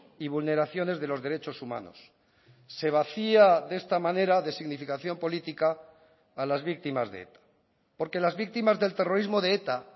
y vulneraciones de los derechos humanos se vacía de esta manera de significación política a las víctimas de eta porque las víctimas del terrorismo de eta